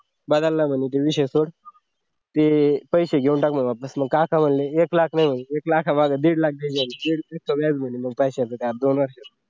बदलला म्हणजे विषय असो ते पैसे घेऊन एक म्हणे वापस का असं म्हणले म्हणजे एक लाख नाही म्हणे एक लेखामागे दीड लाख दीड वर्ष व्याज दिल कश्याच काय